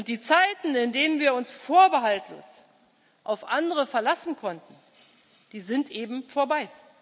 Die Zeiten, in denen wir uns vorbehaltlos auf andere verlassen konnten, die sind eben vorbei.